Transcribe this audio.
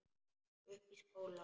Uppi í skóla?